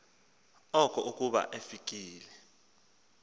oko akuba efikile